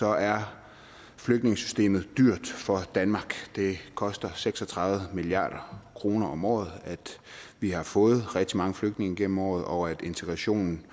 er flygtningesystemet dyrt for danmark det koster seks og tredive milliard kroner om året at vi har fået rigtig mange flygtninge gennem årene og integrationen